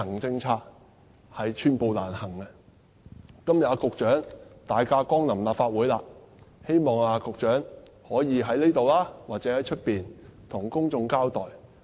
今天局長大駕光臨立法會，希望局長可以在這裏或在外面向公眾交代。